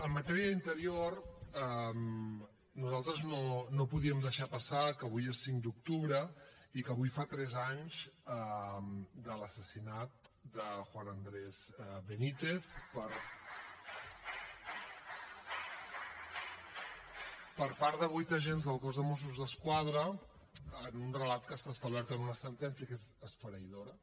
en matèria d’interior nosaltres no podíem deixar passar que avui és cinc d’octubre i que avui fa tres anys de l’assassinat de juan andrés benítez per part de vuit agents del cos de mossos d’esquadra en un relat que està establert en una sentència que és esfereïdora